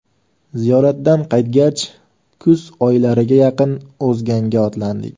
Ziyoratdan qaytgach kuz oylariga yaqin O‘zganga otlandik.